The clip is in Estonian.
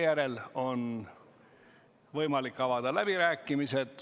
Aga meil on võimalik avada läbirääkimised.